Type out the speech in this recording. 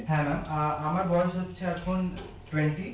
হ্যাঁ maam আহ আমার বয়স হচ্ছে এখন twenty